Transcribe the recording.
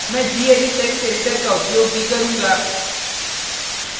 मैं gedit text editor का उपयोग भी करुँगा